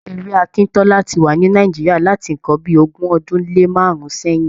Ewé akíntọ́lá ti wa ní Nàìjíríà láti ǹkan bíi ogún ọdún lé márùn-ún sẹ́yìn.